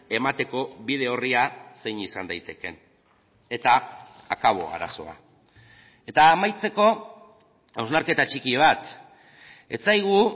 emateko bide orria zein izan daitekeen eta akabo arazoa eta amaitzeko hausnarketa txiki bat ez zaigu